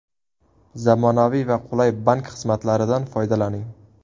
Zamonaviy va qulay bank xizmatlaridan foydalaning!